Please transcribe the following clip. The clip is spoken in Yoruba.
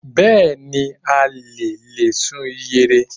Bẹ́ẹ̀ni, a le a lè sun ìyẹ̀rẹ̀